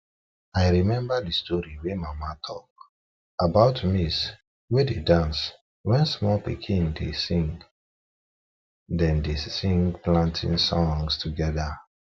i remember the story wey mama tlak about maize wey dey dance wen small pikin dem dey sing dem dey sing planting songs together